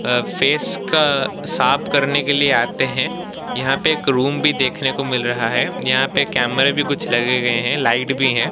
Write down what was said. अ face का साफ करने के लिए आते है यहां पे एक रूम भी देखने को मिल रहा है यहां पे कैमरे भी लगे गए है लाइट भी है।